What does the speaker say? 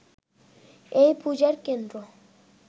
এই পূজার কেন্দ্র